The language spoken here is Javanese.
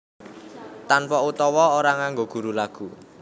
Tanpa utawa ora nganggo guru lagu